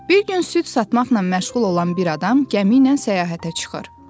Bir gün süd satmaqla məşğul olan bir adam gəmi ilə səyahətə çıxır.